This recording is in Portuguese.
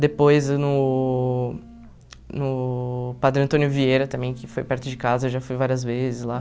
Depois no no Padre Antônio Vieira também, que foi perto de casa, eu já fui várias vezes lá.